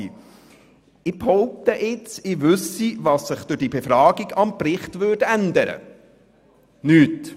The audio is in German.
Ich behaupte nun, ich wisse, was sich durch diese Befragung am Bericht ändern würde: nichts.